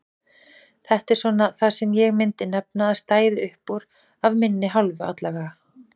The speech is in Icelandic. Þetta er svona það sem ég myndi nefna að stæði uppúr af minni hálfu allavega.